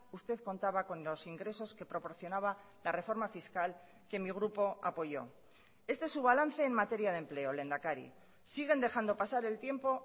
usted contaba con los ingresos que proporcionaba la reforma fiscal que mi grupo apoyó este es su balance en materia de empleo lehendakari siguen dejando pasar el tiempo